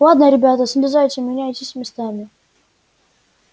ладно ребята слезайте меняйтесь местами